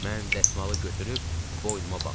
Mən dəsmalı götürüb boynuma bağladım.